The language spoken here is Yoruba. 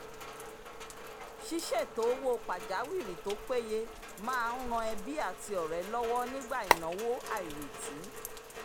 ṣíṣètò owó pàjáwìrì tó péye máa ń ran ẹbí àti ọ̀rẹ́ lọ́wọ́ nígbà ìnáwó àìrètí